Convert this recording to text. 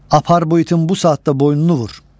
Apar bu itin bu saatda boynunu vur.